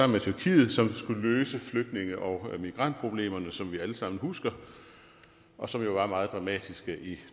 med tyrkiet som skulle løse flygtninge og migrantproblemerne som vi alle sammen husker og som jo var meget dramatiske i